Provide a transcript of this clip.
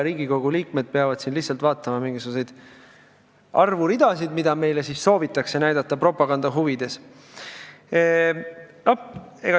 Riigikogu liikmed peavad lihtsalt vaatama mingisuguseid arvuridasid, mida meile soovitakse näidata propaganda huvides.